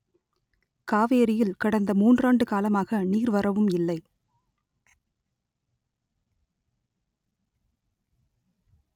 காவேரியில் கடந்த மூன்றாண்டு காலமாக நீர் வரவும் இல்லை